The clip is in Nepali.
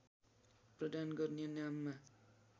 प्रदान गर्ने नाममा